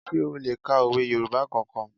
Sé o le ka òwe Yorùbá kankan?